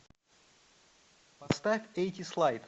поставь атиз лайт